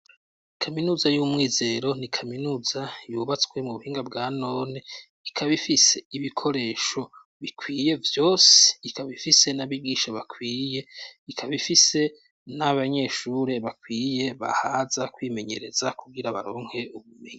Ikaminuza y'umwizero ni kaminuza yubatswe mu buhinga bwa none ikaba ifise ibikoresho bikwiye byose ikaba ifise n'abigisha bakwiriye ikaba ifise n'abanyeshuri bakwiye bahaza kwimenyereza kubwira baronke ubumenyi.